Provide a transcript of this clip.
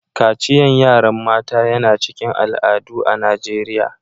Kaciyan yaran mata yana cikin al'adu a'Nijeriya.